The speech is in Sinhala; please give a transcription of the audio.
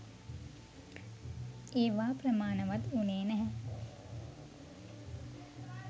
ඒවා ප්‍රමාණවත් වුණේ නැහැ.